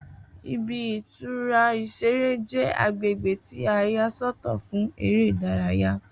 Ibi-ìtura ìṣeré jẹ agbègbè ti a yà sọ́tọ̀ fún eré ìdárayá.